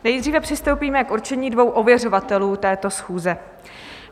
Nejdříve přistoupíme k určení dvou ověřovatelů této schůze.